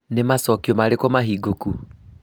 Nĩ macokio marĩkũ mahingũku?